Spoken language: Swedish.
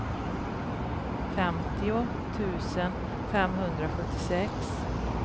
femtio tusen femhundrasjuttiosex